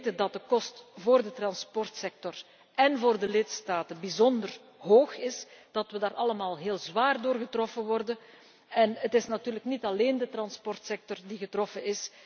We weten dat de kosten voor de transportsector en voor de lidstaten bijzonder hoog zijn, dat we daar allemaal heel zwaar door worden getroffen ook al is het natuurlijk niet alleen de transportsector die wordt getroffen.